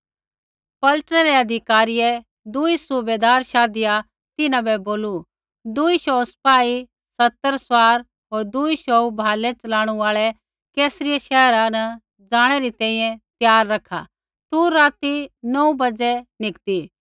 पलटनै रै अधिकारियै दूई सूबैदार शाधिया तिन्हां बै बोलू दूई शौऊ सिपाही सतर सवार होर दूई शौऊ भालै च़लाणू आल़ै कैसरिया शैहर ज़ाणै री तैंईंयैं त्यार रखा तू राती नौऊ बाज़ै निकती